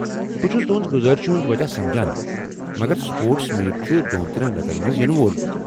بہٕ چُھس تہنٛز گُذٲرشہِ ہنٛد وجہ سمجان، مگر سپورٹس میٖٹ چھُ دۄن ترٛیٚن رٮ۪تن منٛز ینہٕ وول۔